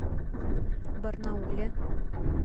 барнауле